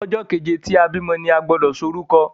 ojó keje tí a bí ọmọ ní agbodo so lórúko